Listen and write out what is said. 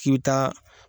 K'i bɛ taa